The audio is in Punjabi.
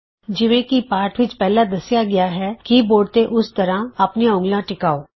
ਜਿਵੇਂ ਕਿ ਪਾਠ ਵਿਚ ਪਹਲਿਾਂ ਦੱਸਿਆ ਗਿਆ ਹੈ ਕੀ ਬੋਰਡ ਤੇ ਉਸ ਤਰ੍ਹਾਂ ਆਪਣੀਆਂ ਉਂਗਲਾਂ ਟਿਕਾਓ